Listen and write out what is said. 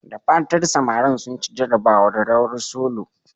Da fatan samarin sun ci jarabawar "rawar solo"?